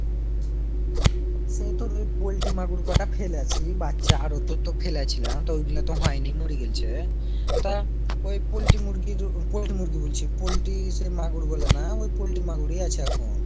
সেই তো নি poultry মাগুর কটা ফেলেছি বাচ্চা আরো তো তো ফেলেছিলাম। তো ওই গুলো তো হয়নি মরি গেলছে। তা ওই poultry মুরগি যে poultry মুরগি বলছি poultry মাগুর বলে না ওই poultry মাগুরী আছে এখন